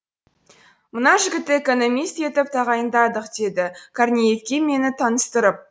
мына жігітті экономист етіп тағайындадық деді корнеевке мені таныстырып